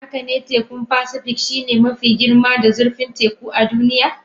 Haka ne, tekun Pasifik shine mafi girma da zurfin teku a duniya.